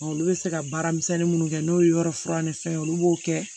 Olu bɛ se ka baara misɛnnin minnu kɛ n'o ye yɔrɔ fura ni fɛn olu b'o kɛ